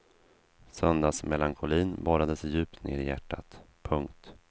Söndagsmelankolin borrade sig djupt ned i hjärtat. punkt